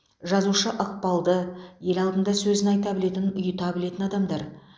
жазушы ықпалды ел алдында сөзін айта білетін ұйыта білетін адамдар